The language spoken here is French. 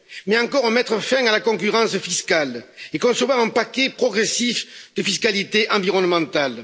Il faudra encore mettre fin à la concurrence fiscale et concevoir un paquet progressif de fiscalité environnementale.